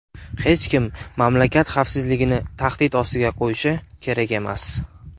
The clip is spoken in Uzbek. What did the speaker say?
Hech kim mamlakat xavfsizligini tahdid ostiga qo‘yishi kerak emas”.